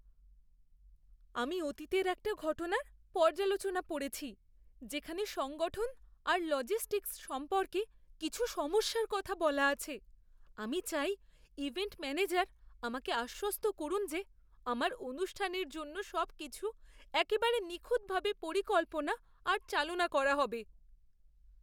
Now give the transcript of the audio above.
আমি অতীতের একটা ঘটনার পর্যালোচনা পড়েছি যেখানে সংগঠন আর লজিস্টিকস সম্পর্কে কিছু সমস্যার কথা বলা আছে। আমি চাই ইভেন্ট ম্যানেজার আমাকে আশ্বস্ত করুন যে আমার অনুষ্ঠানের জন্য সবকিছু একেবারে নিখুঁতভাবে পরিকল্পনা আর চালনা করা হবে।